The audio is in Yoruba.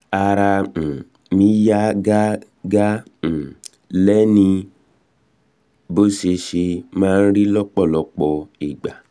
ara um mi yá gágá um lénìí bó ṣe ṣe máa ń rí lọ́pọ̀ um ìgbà